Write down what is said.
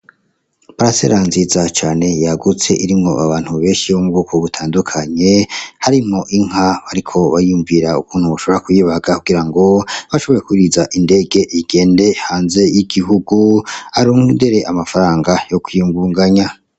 Parisera nziza cane yagutse irimwo abantu benshi bo mu bwoko butandukanye harimwo inka bariko bariyumvira ukuntu bashobora kuyibaga, kugirango bashobore kuyuriza indege igende hanze y'igihugu arondere amafaranga yo kwiyugunganya.